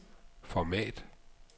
format